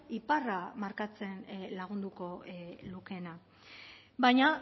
iparra markatzen lagunduko lukeena baina